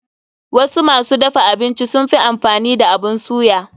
Wasu masu dafa abinci sunfi amfani da abun suya.